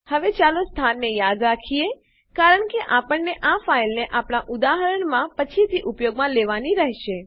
હવે ચાલો સ્થાનને યાદ રાખીએ કારણ કે આપણને આ ફાઈલને આપણા ઉદાહરણમાં પછીથી ઉપયોગમાં લેવાની રેહશે